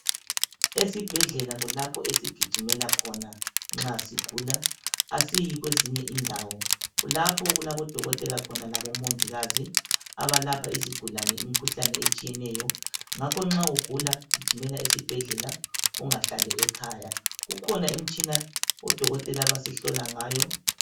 Esibhedlela kulapho esigijimela khona nxa sigula asiyi kwezinye indawo kulapho okulabodokotela khona labomongikazi abalapha izigulane imikhuhlane etshiyeneyo ngakho nxa ugula gijimela esibhedlela ungahlali ekhaya kukhona imtshina odokotela abasihlola ngayo